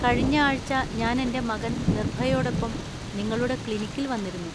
കഴിഞ്ഞ ആഴ്ച ഞാൻ എന്‍റെ മകൻ നിർഭയോടൊപ്പം നിങ്ങളുടെ ക്ലിനിക്കിൽ വന്നിരുന്നു.